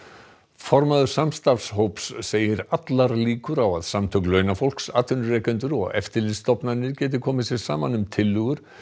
formaður samstarfshóps segir allar líkur á að samtök launafólks atvinnurekendur og eftirlitsstofnanir geti komið sér saman um tillögur